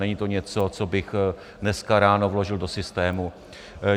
Není to něco, co bych dneska ráno vložil do systému.